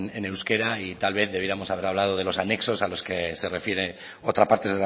en euskera y tal vez debiéramos a ver hablado de los anexos a los que se refiere otra parte